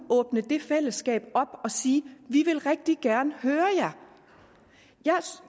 åbne det fællesskab op og sige vi vil rigtig gerne høre jer